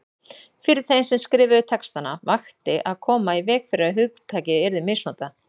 Fyrir þeim sem skrifuðu textana vakti að koma í veg fyrir að hugtakið yrði misnotað.